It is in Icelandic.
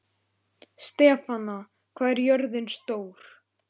Stefana, hvað er jörðin stór?